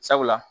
Sabula